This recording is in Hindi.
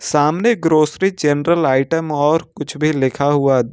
सामने ग्रोसरी जनरल आइटम और कुछ भी लिखा हुआ--